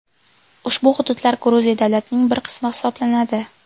Ushbu hududlar Gruziya davlatining bir qismi hisoblanadi.